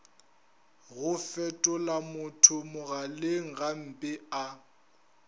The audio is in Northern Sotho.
go fetolamotho mogaleng gampe a